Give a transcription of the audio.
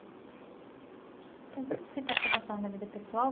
Eu vou aproveitar que você está falando da vida pessoal.